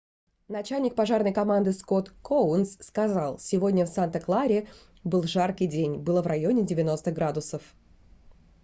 начальник пожарной команды скотт коунс сказал сегодня в санта-кларе был жаркий день было в районе 90 градусов